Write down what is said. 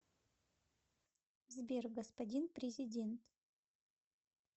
сбер господин президент